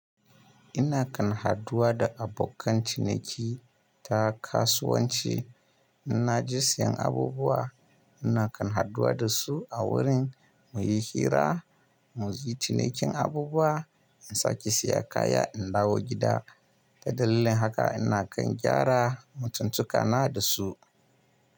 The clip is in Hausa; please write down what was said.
Ina kan haduwa da abokan ciniki ta kasuwanci. Ina je siyan abubuwa, ina kan haduwa da su a wurin mu yi hira, mu ji cinikin abubuwa, in sake saya kaya in dawo gida. Ta dalilin haka ina kan gyara mutun tukana da su.